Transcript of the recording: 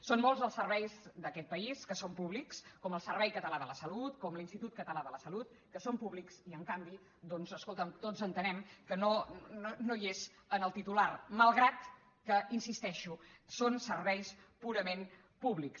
són molts els serveis d’aquest país que són públics com el servei català de la salut com l’institut català de la salut que són públics i en canvi doncs escolta’m tots entenem que no hi és en el titular malgrat que hi insisteixo són serveis purament públics